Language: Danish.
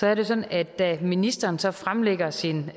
er det sådan at da ministeren så fremlagde sin